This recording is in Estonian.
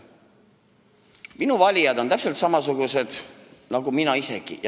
Minu valijad on täpselt samasugused nagu mina isegi.